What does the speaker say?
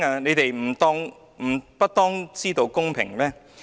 你們不當知道公平嗎？